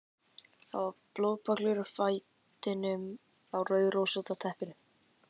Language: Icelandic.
Það var blóðpollur úr fætinum á rauðrósótta teppinu.